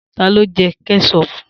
Ta ló Jẹ́ Kẹ́ṣọpù?